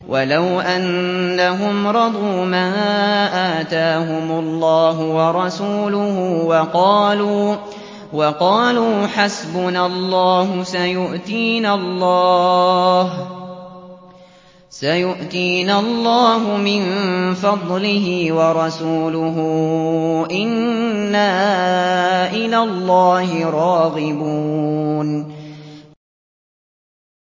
وَلَوْ أَنَّهُمْ رَضُوا مَا آتَاهُمُ اللَّهُ وَرَسُولُهُ وَقَالُوا حَسْبُنَا اللَّهُ سَيُؤْتِينَا اللَّهُ مِن فَضْلِهِ وَرَسُولُهُ إِنَّا إِلَى اللَّهِ رَاغِبُونَ